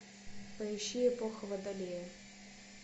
поищи эпоха водолея